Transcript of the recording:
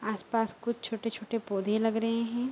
आस-पास कुछ छोटे-छोटे पौधे लग रहे हैं।